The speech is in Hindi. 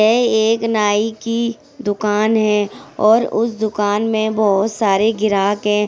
यह एक नाइ की दुकान है और उसे दुकान में बहुत सारे ग्राहक है।